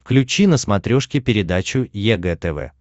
включи на смотрешке передачу егэ тв